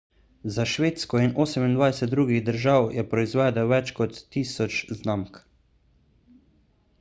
za švedsko in 28 drugih držav je proizvedel več kot 1000 znamk